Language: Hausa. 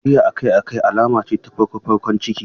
Gajiya akai-akai alama ce ta farkon farkon ciki.